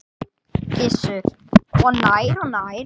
Gissur: Og nær og nær?